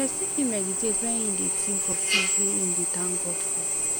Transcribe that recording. person fit mediate when im dey think of things wey im dey thank god for